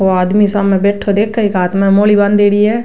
वो आदमी सामने बैठो देखे इक हाँथ में मौली बांधेडी है।